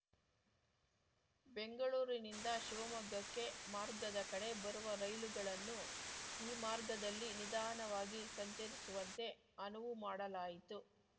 ಬೆಂಗಳೂರಿನಿಂದ ಶಿವಮೊಗ್ಗಕ್ಕೆ ಮಾರ್ಗದ ಕಡೆ ಬರುವ ರೈಲುಗಳನ್ನು ಈ ಮಾರ್ಗದಲ್ಲಿ ನಿಧಾನವಾಗಿ ಸಂಚರಿಸುವಂತೆ ಅನುವುಮಾಡಲಾಯಿತು